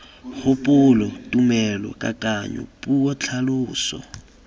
kgopolo tumelo kakanyo puo tlhaloso